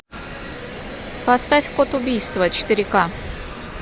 поставь код убийства четыре ка